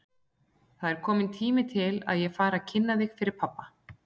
Það er kominn tími til að ég fara að kynna þig fyrir pabba!